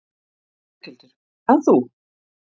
Berghildur: En þú?